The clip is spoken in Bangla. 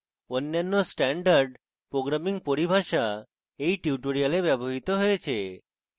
অন্যান্য standard programming পরিভাষা এই tutorial ব্যবহৃত হয়েছে